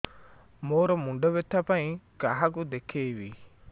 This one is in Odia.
ମୋର ମୁଣ୍ଡ ବ୍ୟଥା ପାଇଁ କାହାକୁ ଦେଖେଇବି